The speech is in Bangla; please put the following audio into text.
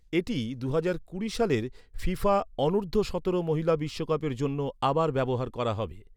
এটি দুহাজার কুড়ি সালের ফিফা অনূর্ধ্ব সতেরো মহিলা বিশ্বকাপের জন্য আবার ব্যবহার করা হবে।